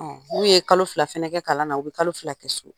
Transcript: n'u ye kalo fila kɛ kalan na, u bɛ kalo fila kɛ so.